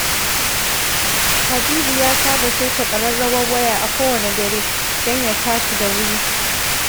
Habibu ya saba saita ƙararrawar waya a kowane dare, don ya tashi da wuri